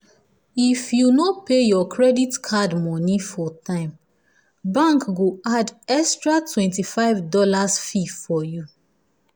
if you no pay your credit card money for time bank go add extra twenty five dollars fee for you.